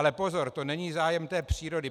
Ale pozor, to není zájem té přírody.